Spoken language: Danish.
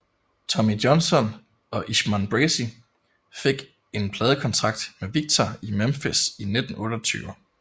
Tommy Johnson og Ishmon Bracey fik en pladekontrakt med Victor i Memphis i 1928